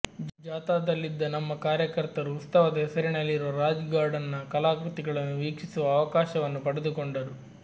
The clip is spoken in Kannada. ಜಾಥಾದಲ್ಲಿದ್ದ ನಮ್ಮ ಕಾರ್ಯಕರ್ತರು ಉತ್ಸವ ದ ಹೆಸರಿನಲ್ಲಿರುವ ರಾಜ್ ಗಾರ್ಡನ್ ನ ಕಲಾಕೃತಿಗಳನ್ನು ವೀಕ್ಷಿಸುವ ಅವಕಾಶವನ್ನು ಪಡೆದುಕೊಂಡರು